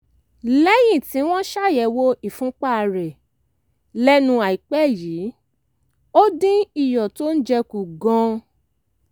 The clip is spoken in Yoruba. lẹ́yìn tí wọ́n ṣàyẹ̀wò ìfúnpá rẹ̀ lẹ́nu àìpẹ́ yìí ó dín iyọ̀ tó ń jẹ kù gan-an